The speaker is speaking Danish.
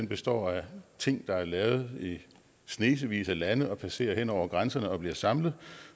består af ting der er lavet i snesevis af lande og som passerer hen over grænserne og bliver samlet